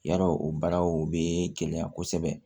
Yarɔ o baaraw o bɛ gɛlɛya kosɛbɛ